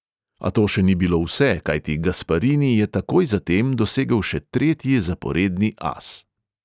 A to še ni bilo vse, kajti gasparini je takoj zatem dosegel še tretji zaporedni as.